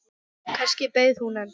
Kannski beið hún enn.